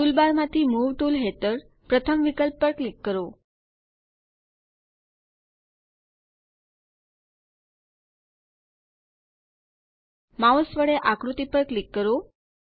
toolbar માંથી move tool હેઠળ પ્રથમ વિકલ્પ પર ક્લિક કરો માઉસ વડે આકૃતિ પર ક્લિક કરો